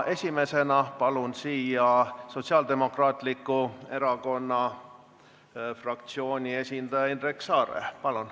Esimesena palun siia Sotsiaaldemokraatliku Erakonna fraktsiooni esindaja Indrek Saare!